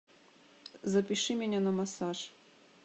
запиши меня на массаж